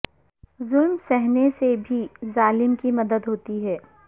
ظلم سہنے سے بھی ظالم کی مدد ہوتی ہے